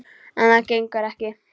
En það gengur ekki.